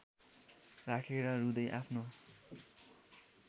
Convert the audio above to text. राखेर रुँदै आफ्नो